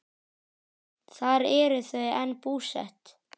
Þar eru þau enn búsett.